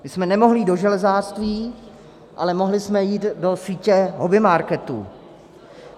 My jsme nemohli jít do železářství, ale mohli jsme jít do sítě hobbymarketů.